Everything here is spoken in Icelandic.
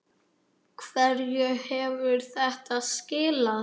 Hverju hefur þetta skilað?